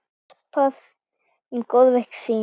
Gaspra um góðverk sín.